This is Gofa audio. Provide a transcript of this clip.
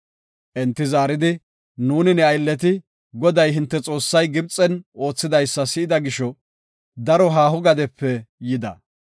Enti zaaridi, “Nuuni ne aylleti Goday hinte Xoossay Gibxen oothidaysa si7ida gisho, daro haaho gadepe yida.